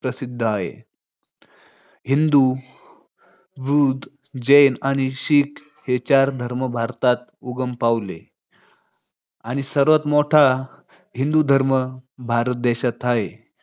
प्रसिद्ध हाय. हिंदू, बुद्ध, जैन आणि शीख हे चार धर्म भारतात उगम पावले. आणि सर्वात मोठा हिंदू धर्म भारत देशात हाय.